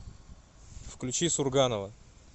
включи сурганова